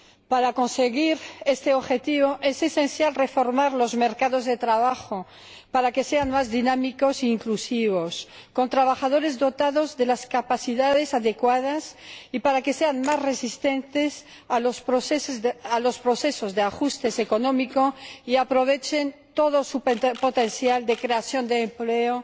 Para conseguir este objetivo, es esencial reformar los mercados de trabajo para que sean más dinámicos e inclusivos, con trabajadores dotados de las capacidades adecuadas, y para que sean más resistentes a los procesos de ajustes económicos y aprovechen todo su potencial de creación de empleo